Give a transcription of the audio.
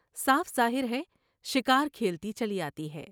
صاف ظاہر ہے شکار کھیلتی چلی آتی ہے ۔